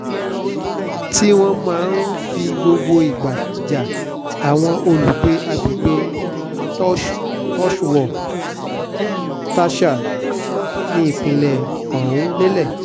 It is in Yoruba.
tí wọ́n máa ń fi gbogbo ìgbà ja àwọn olùgbé agbègbè tsohuwar-tasha nípìnlẹ̀ ọ̀hún lọ́lẹ̀